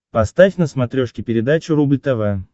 поставь на смотрешке передачу рубль тв